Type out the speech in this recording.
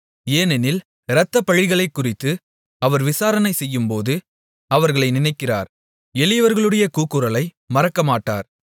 ஏனெனில் இரத்தப்பழிகளைக்குறித்து அவர் விசாரணை செய்யும்போது அவர்களை நினைக்கிறார் எளியவர்களுடைய கூக்குரலை மறக்கமாட்டார்